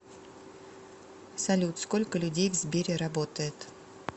салют сколько людей в сбере работает